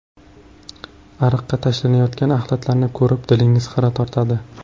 Ariqqa tashlanayotgan axlatlarni ko‘rib dilingiz xira tortadi.